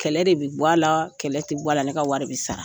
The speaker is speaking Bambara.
Kɛlɛ de bɛ bɔ a la, kɛlɛ tɛ bɔ a la, ne ka wari de bɛ sara.